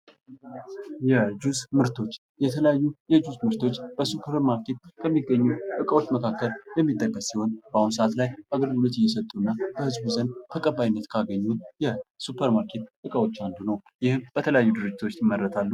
የጁስ ምርቶች የተለያዩ የጁስ ምርቶቾ በሱፐርማርኬት ከሚገኙ እቃዎች መካከል የሚጠቀስ ሲሆን በአሁኑ ጊዜ ተቀባይነት እያገኙ የሚገኙ በተለያዩ ድርጅቶች ይመረታሉ።